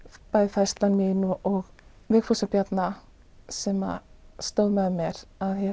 færsla mín og Vigfúsar Bjarna sem stóð með mér